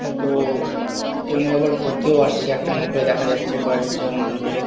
হয়তো-ও অনেকজনে আবার ঘুরতেও আসছে একটা নৌকায় দেখা যাচ্ছে কয়েক জন কে।